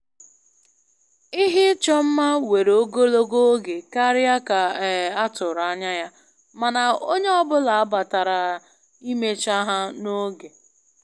Ihe ịchọ mma were ogologo oge karịa ka um a tụrụ anya ya, mana onye ọ bụla batara imecha ha n'oge